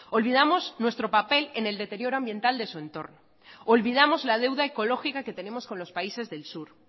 olvidamos nuestro papel en el deterioro ambiental de su entorno olvidamos la deuda ecológica que tenemos con los países del sur